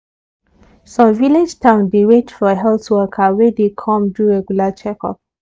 some village town dey wait for health worker wey dey come do regular checkup.